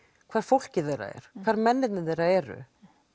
hvar fólkið þeirra er hvar mennirnirnir þeirra eru